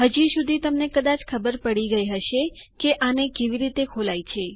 હજી સુધી તમને કદાચ ખબર પડી જ ગઈ હશે કે આને કેવી રીતે ખોલાય છે